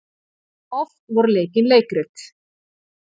Oft voru leikin leikrit.